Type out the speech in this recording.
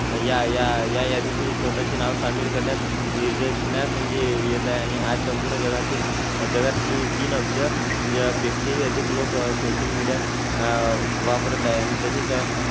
या या या यादीत मी स्वतःचे नाव सामील करण्यात निदर्शनास ये येत आहे. आणि आज संपूर्ण जगातील जगात तीन तीन अब्ज पेक्षाही अधिक लोक सोशल मीडिया अह वापरत आहेत आणि तसेच,